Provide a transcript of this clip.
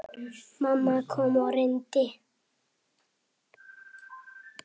Mamma kom og reyndi.